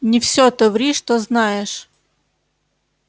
не всё то ври что знаешь